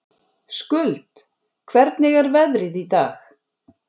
Skuld, hvernig er veðrið í dag?